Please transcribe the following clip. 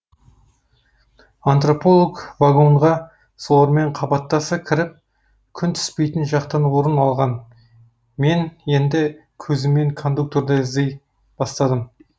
антрополог вагонға солармен қабаттаса кіріп күн түспейтін жақтан орын алған мен енді көзіммен кондукторды іздей бастадым